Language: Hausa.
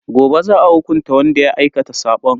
Gobe za a hukunta wanda ya aikata sabon.